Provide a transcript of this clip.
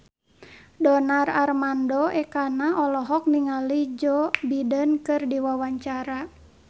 Donar Armando Ekana olohok ningali Joe Biden keur diwawancara